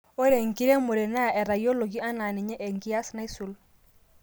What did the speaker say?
ore enkiremore naa etayioloki anaa ninye enkias naisul